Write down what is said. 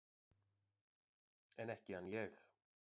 En ekki hann ég!